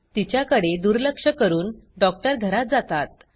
तिच्याकडे दुर्लक्ष करून डॉक्टर घरात जातात